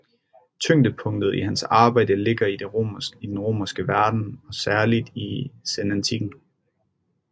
Tyngdepunktet i hans arbejde ligger i den romerske verden og særligt i senantikken